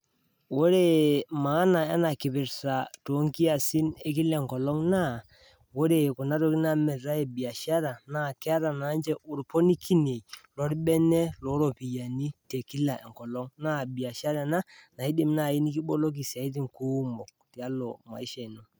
Ore emaana ena kipirta to nkiasin ekila enkolong naa ,ore kuna tokitin naamiritae ebiashara naa keeta naa ninche lolbene loo iropiyiani te ekila enkolong naa mbiashara ana naidim nai nikiboloki siatini kuumok tialo imaisha ino.